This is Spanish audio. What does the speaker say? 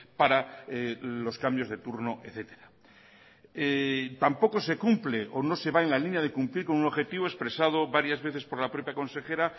para los cambios de turno etcétera tampoco se cumple o no se va en la línea de cumplir con un objetivo expresado varias veces por la propia consejera